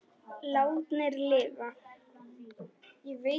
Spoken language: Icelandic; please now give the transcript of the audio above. Látnir lifa